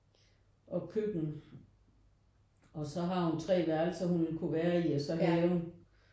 Og køkken og så har hun 3 værelser hun ville kunne være i og så haven